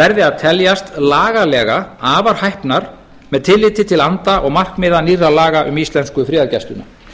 verði að teljast lagalega afar hæpnar með tilliti til anda og markmiða nýrra laga um íslensku friðargæsluna